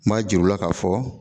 N b'a jira u la k'a fɔ